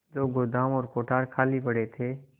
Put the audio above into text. जो गोदाम और कोठार खाली पड़े थे